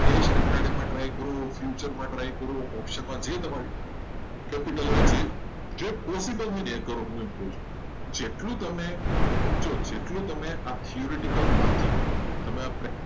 try કર્યો. future માટે try કરો. capital હોય અને જેમાં profit હોય. એ કરો જેટલું તમે આ theoretical વાંચશો એટલું.